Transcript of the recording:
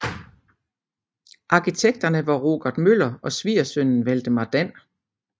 Arkitekterne var Rogert Møller og svigersønnen Valdemar Dan